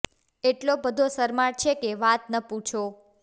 એટલો બધો શરમાળ છે કે વાત ન પૂછો